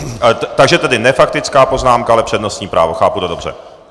Takže tedy ne faktická poznámka, ale přednostní právo, chápu to dobře?